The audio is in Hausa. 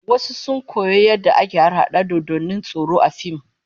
Wasu sun koyo yadda ake harhada dodannin tsoro A fim